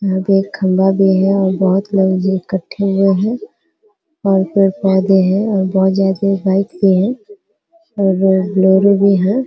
यहाँ पर एक खम्भा भी है और बहोत लोग इकट्ठे हुए है और पेड़ पोधे हैं और बहोत ज्यादा बाइक भी है और बो- बोलेरो भी है।